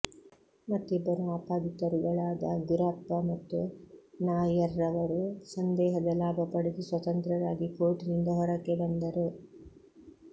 ಮತ್ತಿಬ್ಬರು ಆಪಾದಿತರುಗಳಾದ ಗುರಪ್ಪ ಮತ್ತು ನಾಯರ್ರವರು ಸಂದೇಹದ ಲಾಭ ಪಡೆದು ಸ್ವತಂತ್ರರಾಗಿ ಕೋರ್ಟಿನಿಂದ ಹೊರಕ್ಕೆ ಹೊರಟರು